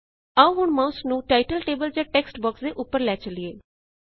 ਆਓ ਹੁਣ ਮਾਉਸ ਨੂੰ ਟਾਇਟਲ ਲੇਬਲ ਜਾ ਟੇਕਸਟ ਬੌਕਸ ਦੇ ਉੱਤੇ ਲੈ ਚਲਿਏ